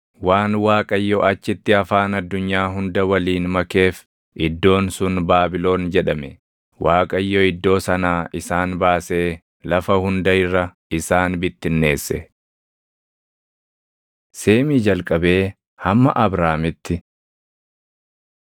Waan Waaqayyo achitti afaan addunyaa hunda waliin makeef iddoon sun Baabilon jedhame; Waaqayyo iddoo sanaa isaan baasee lafa hunda irra isaan bittinneesse. Seemii Jalqabee Hamma Abraamitti 11:10‑27 kwf – Uma 10:21‑31; 1Sn 1:17‑27